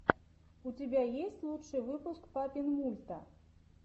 у тебя есть лучший выпуск папинмульта